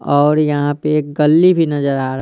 और यहाँ पे गल्ली भी नज़र आरा ।